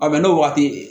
A bɛn n'o waati ye